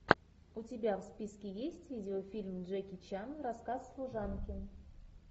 у тебя в списке есть видеофильм джеки чан рассказ служанки